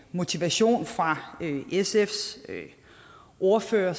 motivation fra sfs ordfører